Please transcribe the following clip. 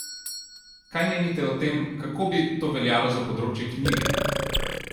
Kaj menite o tem, kako bi to veljajo za področje knjige?